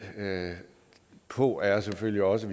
på er selvfølgelig også at